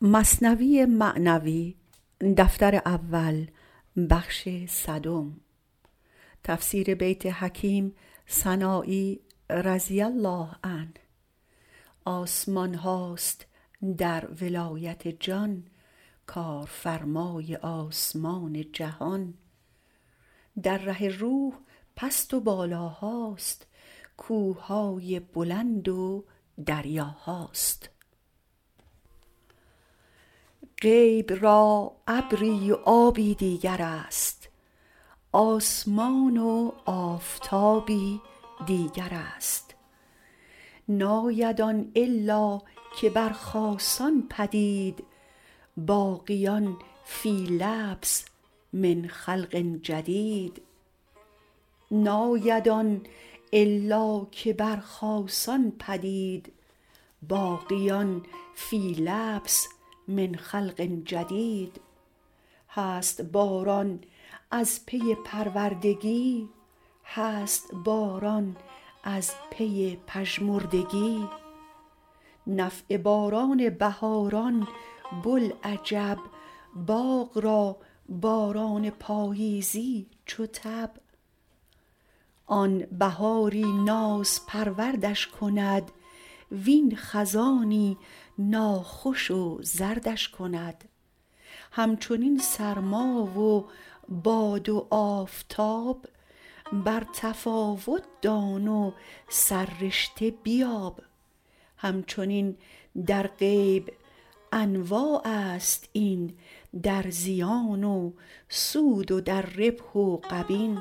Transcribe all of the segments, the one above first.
غیب را ابری و آبی دیگرست آسمان و آفتابی دیگرست ناید آن الا که بر خاصان پدید باقیان فی لبس من خلق جدید هست باران از پی پروردگی هست باران از پی پژمردگی نفع باران بهاران بوالعجب باغ را باران پاییزی چو تب آن بهاری نازپروردش کند وین خزانی ناخوش و زردش کند همچنین سرما و باد و آفتاب بر تفاوت دان و سررشته بیاب همچنین در غیب انواعست این در زیان و سود و در ربح و غبین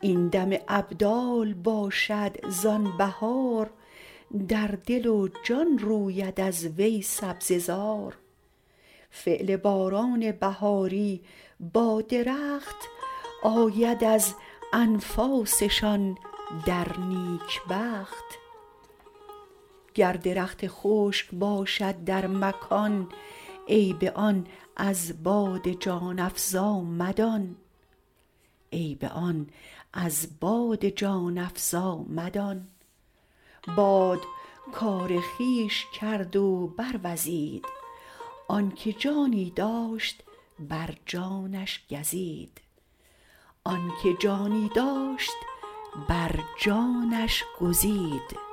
این دم ابدال باشد زان بهار در دل و جان روید از وی سبزه زار فعل باران بهاری با درخت آید از انفاسشان در نیکبخت گر درخت خشک باشد در مکان عیب آن از باد جان افزا مدان باد کار خویش کرد و بر وزید آنک جانی داشت بر جانش گزید